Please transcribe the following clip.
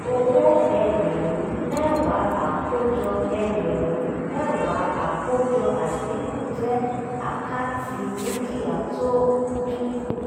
owó ẹgbẹ̀rún mẹ́wàá àkójọ ẹgbẹ̀rún mẹ́wàá àkójọ àdínkù jẹ́ àkáǹtì dúkìá tó ń dínkù.